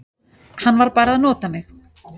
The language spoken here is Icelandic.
Hann var bara að nota mig.